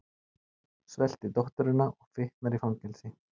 Svelti dótturina og fitnar í fangelsi